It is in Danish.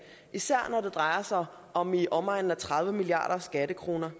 især når det drejer sig om i omegnen af tredive milliarder skattekroner